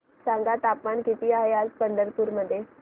सांगा तापमान किती आहे आज पंढरपूर मध्ये